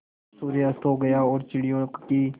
जब सूर्य अस्त हो गया और चिड़ियों की